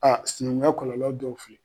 Aa sinɛnkunya kɔlɔlɔ dɔw filɛ